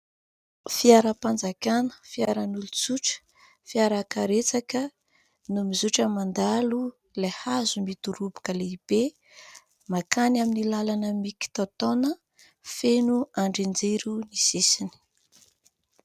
Fiaram-panjakana, fiaran'olon-tsotra, fiara karetsaka no mizotra mandalo ilay hazo midoroboka lehibe mankany amin'ny lalana "mikitaotaona" feno andrin-jiro ny sisiny.